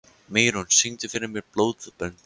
Mýrún, syngdu fyrir mig „Blóðbönd“.